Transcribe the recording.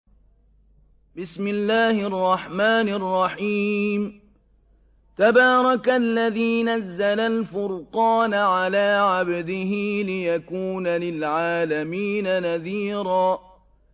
تَبَارَكَ الَّذِي نَزَّلَ الْفُرْقَانَ عَلَىٰ عَبْدِهِ لِيَكُونَ لِلْعَالَمِينَ نَذِيرًا